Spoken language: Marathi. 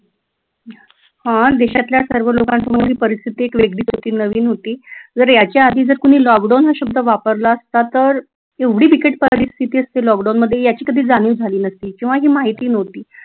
हा देशातल्या सर्व लोकांसमोर ही परिस्थिती वेगळीच होती नवीन होती जर याच्या आधी जर लॉकडाऊन हा शब्द वापरला असता तर एवढी बिकट परिस्थिती असती लॉकडाऊनमध्ये याची कधी जाणीव झाली नसती किंवा ही माहिती नव्हती